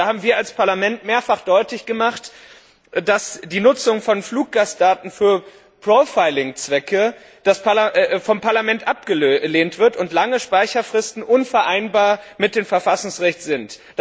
Wir haben als Parlament mehrfach deutlich gemacht, dass die Nutzung von Fluggastdaten für Profiling Zwecke vom Parlament abgelehnt wird und lange Speicherfristen unvereinbar mit dem Verfassungsrecht sind.